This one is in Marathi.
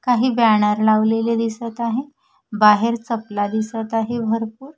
काही बॅनर लावलेले दिसत आहे बाहेर चपला दिसत आहे भरपूर--